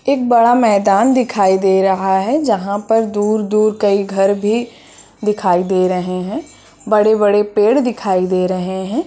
एक बड़ा मैदान दिखाई दे रहा है जहाँ पर दुर-दुर कहीं घर भी दिखाई दे रहे है बड़े-बड़े पेड़ दिखाई दे रहे है।